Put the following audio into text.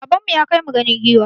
Baban mu ya kai mu ganin giwa.